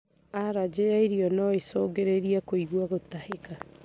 Aranjĩ ya irio noĩcũngĩrĩrie kũigua gũtahĩka